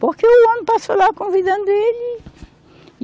Porque o homem passou lá convidando ele.